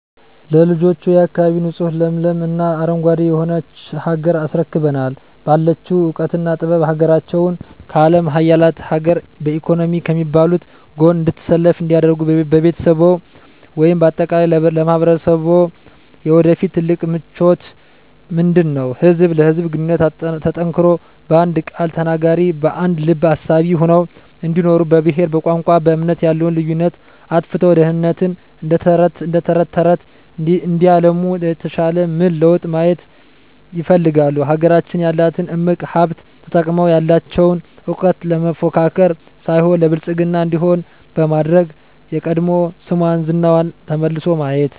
ለልጆችዎ፣ የአካባቢ ንፁህ ለምለም እና አረንጓዴ የሆነች ሀገር አስረክበናቸው ባላቸው እውቀትና ጥበብ ሀገራቸውን ከአለም ሀያላን ሀገር በኢኮኖሚ ከሚባሉት ጎን እንድትሰለፍ እንዲያደርጉ ለቤተሰብዎ ወይም በአጠቃላይ ለማህበረሰብዎ የወደፊት ትልቁ ምኞቶ ምንድነው? ህዝብ ለህዝብ ግንኙነቱ ጠንክሮ በአንድ ቃል ተናጋሪ በአንድ ልብ አሳቢ ሆነው እንዲኖሩ በብሄር በቋንቋ በእምነት ያለውን ልዩነት አጥፍተው ድህነትን እደተረተረት እንዲያለሙት የተሻለ ምን ለውጥ ማየት ይፈልጋሉ? ሀገራችን ያላትን እምቅ ሀብት ተጠቅመው ያለቸውን እውቀት ለመፎካከር ሳይሆን ለብልፅግና እንዲሆን በማድረግ የቀድሞ ስሟና ዝናዋ ተመልሶ ማየት